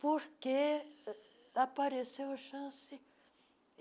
Porque uh apareceu a chance.